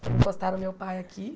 Encostaram o meu pai aqui.